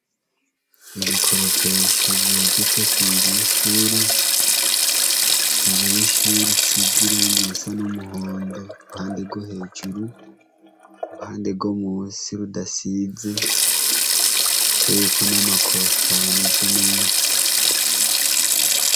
Ibikoropesha vyegetse kunzu y’ishure, inzu y’ishure isize irangi risa n’umuhondo kuruhande rwo hejururu, uruhande rwo munsi rudasize ruteyeko nama kostari ameze neza.